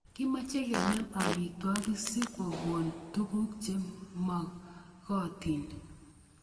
Kimache kenem amitwogik si ko kon tuguk che magotin